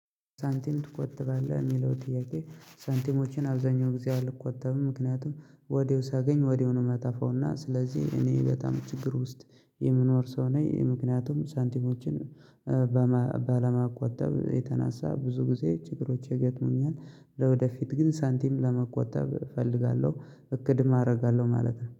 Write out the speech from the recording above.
ሳንቲም ትቆጥባለህ የሚለው ጥያቄ? ሳንቲሞችን አብዛኛው ጊዜ አልቆጠብም ምክንያቱም ወዲያው ሳገኝ ወዲያው ነው ማጠፋውና ስለዚህ እኔ በጣም ችግር ውስጥ የምንኖርሰው ነኝ ምክንያቱም ሳንቲሞችን ባለማቆጠብ የተነሳ ብዙ ጊዜ ችግሮች ይገጥሙኛል። ለወደፊት ግን ሳንቲም ለመቆጠብ እፈልጋለሁ እቆድም አደርጋለሁ ማለት ነው